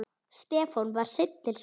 Stefán var seinn til svars.